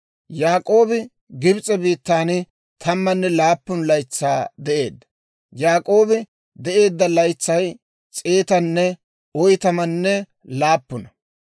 Yaak'oobi Gibs'e biittaan tammanne laappun laytsaa de'eedda. Yaak'oobi de'eedda laytsay s'eetanne oytamanne laappuna.